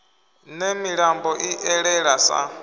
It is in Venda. ne milambo i elele sa